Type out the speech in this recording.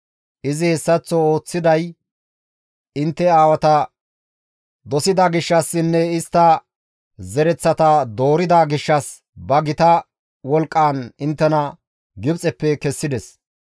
Izi hessaththo ooththiday intte aawata dosida gishshassinne istta zereththata doorida gishshas ba gita wolqqaan inttena Gibxeppe kessides.